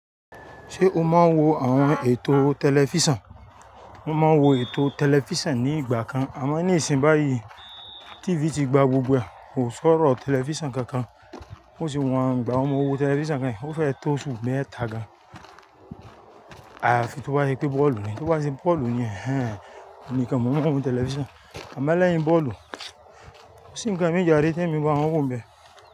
Ṣé o máa ń wo àwọn ètò tẹlifísàn? Mo máa ń wo ètò tẹlifísàn ní ìgbà kan. Àmọ́ ní ìsìn báyìí, TV ti gba gbogbo ẹ̀. Kò sọ́rọ̀ tẹlifísàn kankan. Ó sì wọ́n gba. Mo wo tẹlifísàn kẹ̀ hìn, ó fẹ́ tó su méta gan. À fi tó bá ṣe pé bọ́ọ̀lù ni, tó bá ṣe pé bọ́ọ̀lù ni, ẹ́ẹ́n, èmi nìkan mo máa ń wo tẹlifísàn. Àmọ́ lẹ́yìn bọ́ọ̀lù, kò sì ń ka mi járé, tí èmi bá wọ̀n wò n bẹ́.